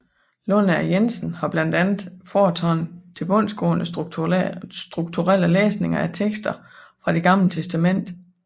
Lundager Jensen har blandt andet foretaget tilbundsgående strukturelle læsninger af tekster fra Det Gamle Testamente